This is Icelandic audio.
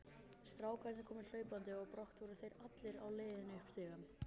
Strákarnir komu hlaupandi og brátt voru þeir allir á leiðinni upp stigann.